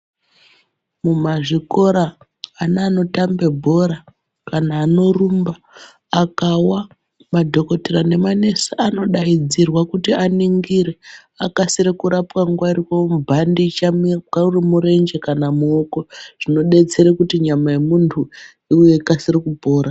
Mumazvikora ana anotambe bhora, kana anorumba, akawa madhokodheya nemanesi anokase kudaidzrwa kuti aningire, akasire kurapwa nguwa ichiripo, vomubhandicha, uri murenje kana muoko. Zvinodetsere kuti nyama yemuntu ikasire kupora.